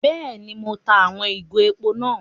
Béèni, Mo n tá àwon ìgò èpò náà